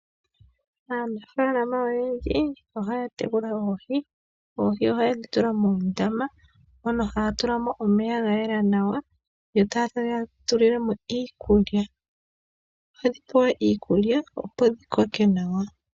Aanafalama oyendji ohaya tekula oohi. Oohi ohaye dhi tula moondama, mono haya tula mo omeya ga yela nawa, yo taye dhi tulile mo iikulya. Ohadhi pewa iikulya opo dhi koke nawa.